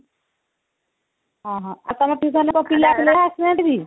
ଅଁ ହଁ ତମ tutionରେ ପିଲା ଥିଲେ ବା ଆସିନାହାନ୍ତି କେହି